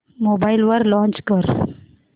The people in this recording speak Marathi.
मोबाईल वर लॉंच कर